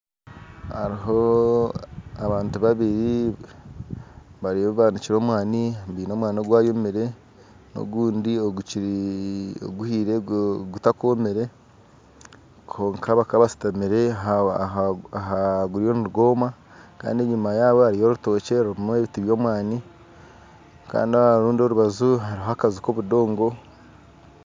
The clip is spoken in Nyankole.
Aruho abantu babiri bariyo banikire omwani baine omwani ogwayomire ogundi gukiri ohuhire gutakomire kwonka bakaba bashutamire aha guriyo nigwoma kandi enyuma yabo hariyo orutokye rurumu ebiti by'omwani Kandi aharundi orubaju hariho akaju k'obudongo.